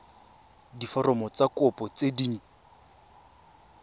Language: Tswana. diforomo tsa kopo tse dint